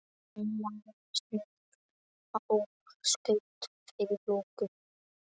Hann lagðist niður og skaut fyrir loku.